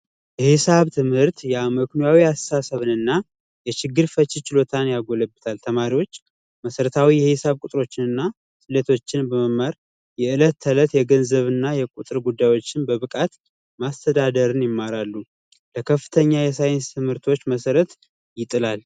የሂሳብ ትምህርት አስተሳሰብንና የችግር ፈቺነት ችሎታን ያጎለበታል፤ ተማሪዎች መሠረታዊ የሂሳብ ቁጥሮችንና ስሌቶችን በመማር የዕለት ተዕለት የገንዘብ ጉዳዮች እና ቁጥሮችን በብቃት ማስተዳደርን ይማራሉ፤ ለከፍተኛ የሳይንስ ትምህርቶች መሰረት ይጥላል።